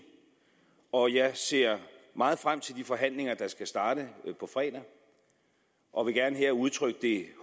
og jeg ser meget frem til de forhandlinger der skal starte på fredag og vil gerne her udtrykke det